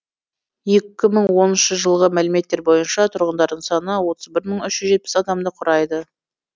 екі мың оныншы жылғы мәліметтер бойынша тұрғындарының саны отыз бір мың үш жүз жетпіс адамды құрайды